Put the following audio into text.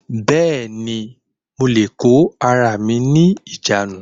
Bẹ́ẹ̀ni, mo lè kó ara mi ní ìjánu